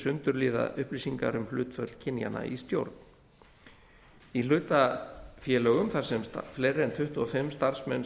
sundurliða upplýsingar um hlutföll kynjanna í stjórn í hlutafélögum þar sem fleiri en tuttugu og fimm starfsmenn